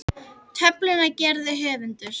Töfluna gerði höfundur.